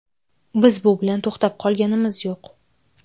Biz bu bilan to‘xtab qolganimiz yo‘q.